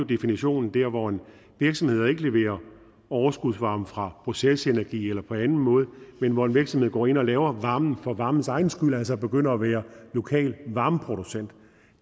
definition der hvor en virksomhed ikke leverer overskudsvarme fra procesenergi eller på anden måde men hvor en virksomhed går ind og laver varmen for varmens egen skyld altså begynder at være lokal varmeproducent